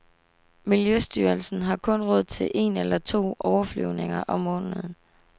Miljøstyrelsen har kun råd til en eller to overflyvninger om måneden.